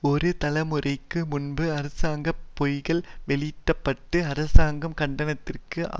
ஒரு தலைமுறைக்கு முன்பு அரசாங்க பொய்கள் வெளிப்படுத்தப்பட்டு அரசாங்கம் கண்டனத்திற்கு